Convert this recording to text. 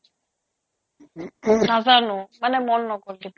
নাজানো মানে মন নগ'ল দিবলে